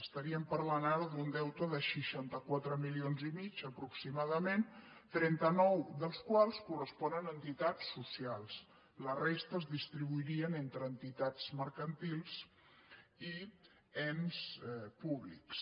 estaríem parlant ara d’un deute de seixanta quatre milions i mig aproximadament trenta nou dels quals corresponen a entitats socials la resta es dis·tribuirien entre entitats mercantils i ens públics